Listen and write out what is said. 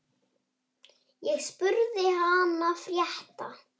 Ég spurði hana frétta.